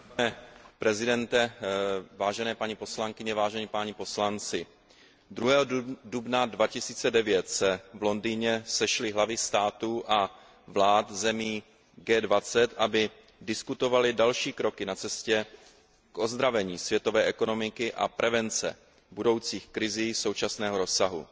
Vážený pane předsedo, vážené paní poslankyně, vážení páni poslanci, 2. dubna 2009 se v Londýně sešly hlavy států a vlád zemí G20, aby diskutovaly další kroky na cestě k ozdravení světové ekonomiky a prevence budoucích krizí současného rozsahu.